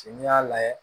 Ce n'i y'a lajɛ